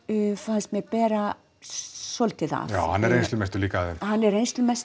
fannst mér bera svolítið af já hann er reynslumestur líka af þeim hann er